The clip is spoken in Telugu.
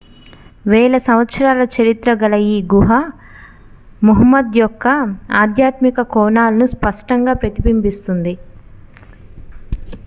వేల సంవత్సరాల చరిత్ర గల ఈ గుహ ముహమ్మద్ యొక్క ఆధ్యాత్మిక కోణాలను స్పష్టంగా ప్రతిబింబిస్తుంది